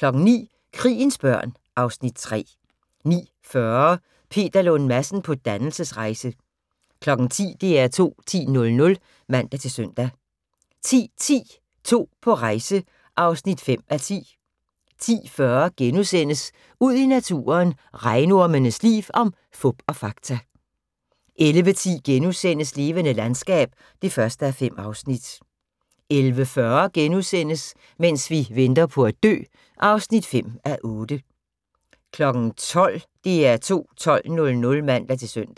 09:00: Krigens børn (Afs. 3) 09:40: Peter Lund Madsen på dannelsesrejse 10:00: DR2 10.00 (man-søn) 10:10: To på rejse (5:10) 10:40: Ud i naturen: Regnormens liv – om fup og fakta * 11:10: Levende landskab (1:5)* 11:40: Mens vi venter på at dø (5:8)* 12:00: DR2 12.00 (man-søn)